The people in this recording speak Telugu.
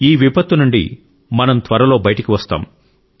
ఈ విపత్తు నుండి మనం త్వరలో బయటికి వస్తాం